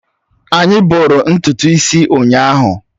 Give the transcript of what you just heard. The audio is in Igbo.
Anyị bọrọ ntutu isi ụnyahụ.